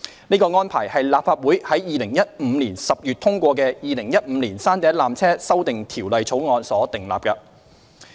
這安排是立法會於2015年10月通過的《2015年山頂纜車條例草案》所訂立的。